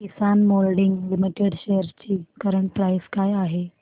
किसान moulding limited shares ची current price काय आहे